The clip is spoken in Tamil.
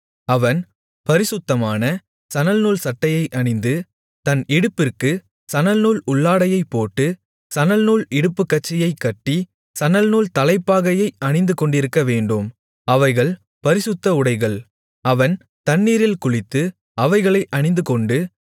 அவன் பரிசுத்தமான சணல்நூல்சட்டையை அணிந்து தன் இடுப்பிற்குச் சணல்நூல் உள்ளாடையைப் போட்டு சணல்நூல் இடுப்புக்கச்சையைக் கட்டி சணல்நூல் தலைப்பாகையைத் அணிந்துகொண்டிருக்கவேண்டும் அவைகள் பரிசுத்த உடைகள் அவன் தண்ணீரில் குளித்து அவைகளை அணிந்துகொண்டு